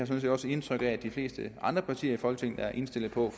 set også indtryk af at de fleste andre partier i folketinget er indstillet på